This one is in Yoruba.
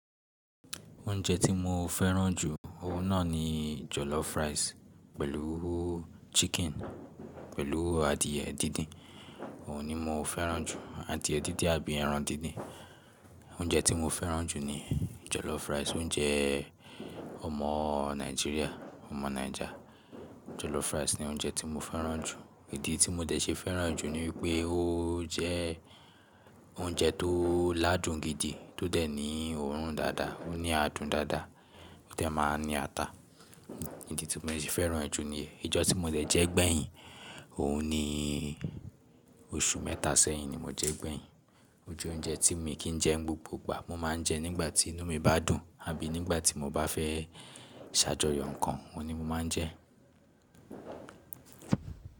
Oúnjẹ tí mo fẹ́ràn jù, òun náà ni jollof rice pẹ̀lú chicken, pẹ̀lú adìẹ díndín. Òun ni mo fẹ́ràn jù, adìẹ díndín àbí ẹran díndín. Oúnjẹ tí mo fẹ́ràn jù ni jollof rice. Oúnjẹ ọmọ Nigeria, ọmọ Niger. Jollof rice ni oúnjẹ tí mo fẹ́ràn jù. Ìdí tí mo dẹ̀ ṣe fẹ́ràn jù ni wípé ó jẹ oúnjẹ tó ládùn gidi, tó dẹ̀ ní òórùn dáadáa, ó ní adùn dáadáa, ó dẹ̀ máa ní ata. Ìdí tí mo dẹ̀ ṣe fẹ́ràn e jù niyen, ijọ́ tí mo dẹ̀ jẹ gbẹ̀yìn, òun ni oṣù mẹ́ta sẹ́yìn ni mo jẹ gbẹ̀yìn. Ó jẹ oúnjẹ tí mi kì í jẹ n gbogbo ìgbà, mo máa ń jẹ nígbà tí inú mi bá dùn, àbí nígbà tí mo bá fẹ́ ṣàjọyọ̀ ǹnkan, òun ni mo máa ń jẹ.